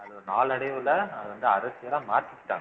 அது நாளடைவுல அது வந்து அரசியலா மாத்திக்கிட்டாங்க